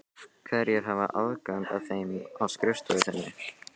Hverjir hafa aðgang að þeim á skrifstofu þinni?